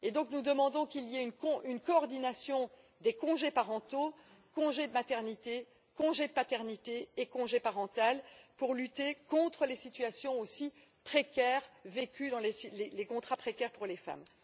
Nous demandons donc qu'il y ait une coordination des congés parentaux congé de maternité, congé de paternité et congé parental pour lutter contre les situations aussi précaires vécues dans les contrats précaires par les femmes.